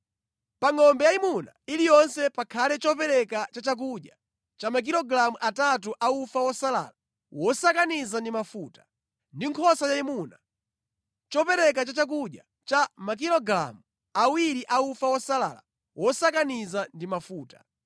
Pa ngʼombe yayimuna iliyonse pakhale chopereka cha chakudya cha makilogalamu atatu a ufa wosalala wosakaniza ndi mafuta; ndi nkhosa yayimuna, chopereka cha chakudya cha makilogalamu awiri a ufa wosalala wosakaniza ndi mafuta;